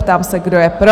Ptám se, kdo je pro?